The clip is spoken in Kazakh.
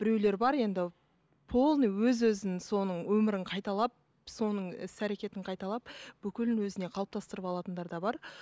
біреулер бар енді полный өз өзін соның өмірін қайталап соның іс әрекетін қайталап бүкілін өзіне қалыптастырып алатындар да бар